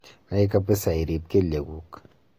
nai kapiza irip keliek guuk